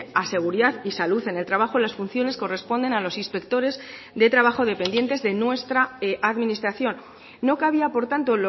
a seguridad y salud en el trabajo las funciones corresponden a los inspectores de trabajo dependientes de nuestra administración no cabía por tanto